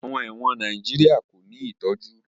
Àwọn ẹ̀wọ̀n Nàìjíríà kò ní ìtọ́jú